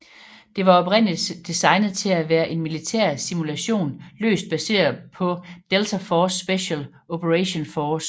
Det var oprindeligt designet til at være en militær simulation løst baseret på Delta Force special operations force